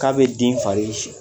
K'a bɛ den fari so